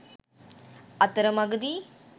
අතරමගදී